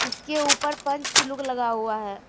इसके ऊपर पंच सलूक लगा हुआ है।